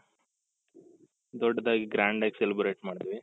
ದೊಡ್ಡದಾಗಿ grand ಆಗಿ celebrate ಮಾಡಿದ್ವಿ.